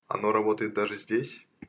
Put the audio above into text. оно работает даже здесь